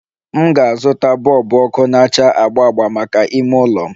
M ga-azụta bọlbụ ọkụ na-acha agba agba maka ime ụlọ m